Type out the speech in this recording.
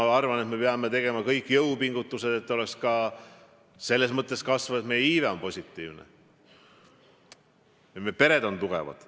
Ma arvan, et me kõik peame tegema jõupingutusi, et ka meie loomulik iive oleks positiivne, et meie pered oleks tugevad.